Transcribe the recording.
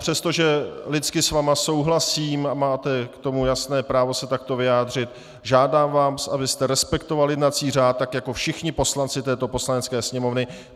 Přestože lidsky s vámi souhlasím a máte k tomu jasné právo se takto vyjádřit, žádám vás, abyste respektoval jednací řád, tak jako všichni poslanci této Poslanecké sněmovny.